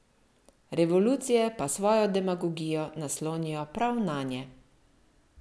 Revolucije pa svojo demagogijo naslonijo prav nanje.